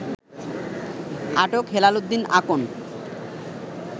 আটক হেলাল উদ্দীন আকন